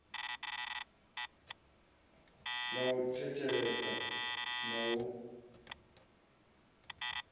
ḽa u thetshelesa na u